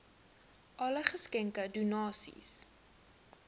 alle geskenke donasies